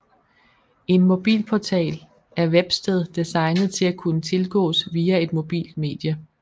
En mobilportal er websted designet til at kunne tilgås via et mobilt medie